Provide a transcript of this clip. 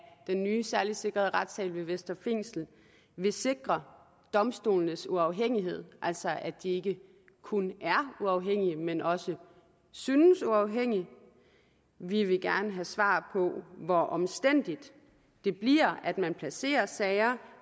den nye særligt sikrede retssal ved vestre fængsel vil sikre domstolenes uafhængighed altså at de ikke kun er uafhængige men også synes uafhængige vi vil gerne have svar på hvor omstændigt det bliver at man placerer sager